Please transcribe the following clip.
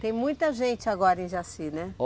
Tem muita gente agora em Jaci, né?